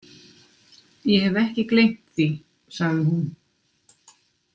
Ég hef ekki gleymt því, sagði hún.